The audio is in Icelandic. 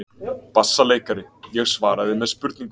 BASSALEIKARI: Ég svaraði með spurningu.